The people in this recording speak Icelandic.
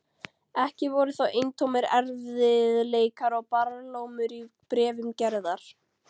Ekki voru þó eintómir erfiðleikar og barlómur í bréfum Gerðar.